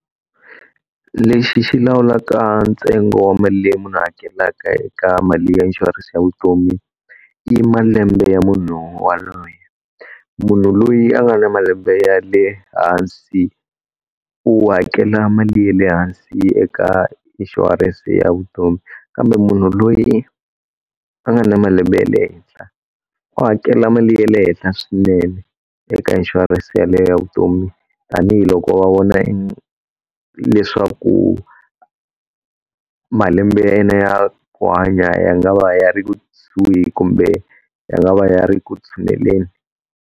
Lexi xi lawulaka ntsengo wa mali leyi munhu a hakelaka eka mali ya inshurense ya vutomi, i malembe ya munhu waloyo. Munhu loyi a nga na malembe ya le hansi u hakela mali ya le hansi eka inshurense ya vutomi, kambe munhu loyi a nga na malembe ya le henhla u hakela mali ya le henhla swinene eka inshurense yaleyo ya vutomi, tanihiloko va vona leswaku malembe ya yena ya ku hanya ya nga va ya ri kusuhi kumbe ya nga va ya ri ku tshuneleni.